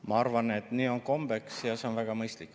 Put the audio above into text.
Ma arvan, et nii on kombeks ja see on väga mõistlik.